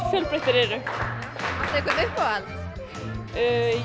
fjölbreyttir þeir eru áttu uppáhalds